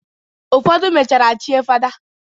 Ụfodụ mechara chie fada.